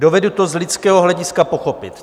Dovedu to z lidského hlediska pochopit.